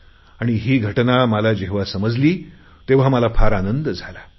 आणि ही घटना मला जेव्हा समजली तेव्हा मला फार आनंद झाला